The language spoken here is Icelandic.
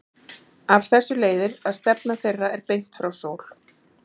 Af þessu leiðir að stefna þeirra er beint frá sól.